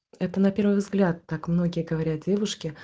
это на первый взгляд так многие говорят девушки